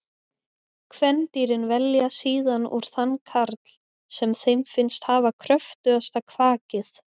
Kvendýrin velja síðan úr þann karl sem þeim finnst hafa kröftugasta kvakið.